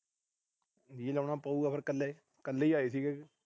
ਜੀਅ ਲਾਉਣਾ ਪਊਗਾ ਫਿਰ ਕੱਲੇ। ਕੱਲੇ ਹੀ ਆਏ ਸੀ।